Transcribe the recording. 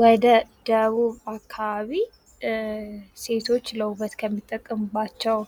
ወደ ደቡብ አካባቢ ሴቶች ለዉበት ከሚጠቀሙባቸው